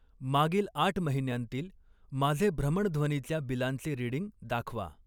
मागील आठ महिन्यांतील माझे भ्रमणध्वनीच्या बिलांचे रीडिंग दाखवा.